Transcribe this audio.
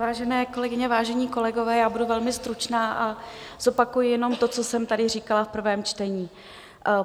Vážené kolegyně, vážení kolegové, já budu velmi stručná a zopakuji jenom to, co jsem tady říkala v prvém čtení.